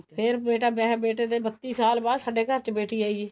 ਫ਼ੇਰ ਬੇਟਾ ਵਿਆਹਆਂ ਫ਼ੇਰ ਬੱਤੀ ਸਾਲ ਬਾਅਦ ਸਾਡੇ ਘਰ ਚ ਬੇਟੀ ਆਈ ਹੈ